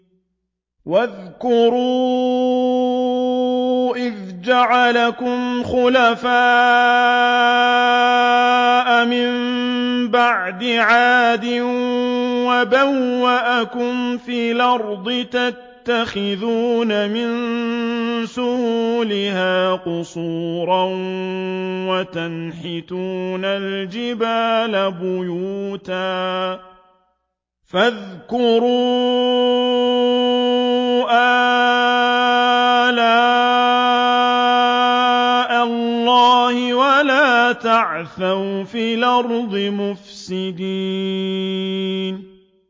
وَاذْكُرُوا إِذْ جَعَلَكُمْ خُلَفَاءَ مِن بَعْدِ عَادٍ وَبَوَّأَكُمْ فِي الْأَرْضِ تَتَّخِذُونَ مِن سُهُولِهَا قُصُورًا وَتَنْحِتُونَ الْجِبَالَ بُيُوتًا ۖ فَاذْكُرُوا آلَاءَ اللَّهِ وَلَا تَعْثَوْا فِي الْأَرْضِ مُفْسِدِينَ